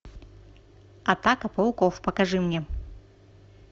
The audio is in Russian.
атака пауков покажи мне